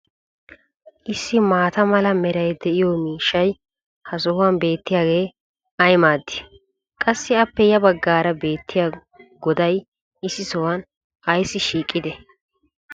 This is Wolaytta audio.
issi maata mala meray diyo miishshay ha sohuwan beetiyaagee ay maadii? qassi appe ya bagaara beetiya godday issi sohuwan ayssi shiiqidee?